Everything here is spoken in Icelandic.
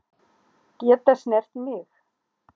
Geta snert mig.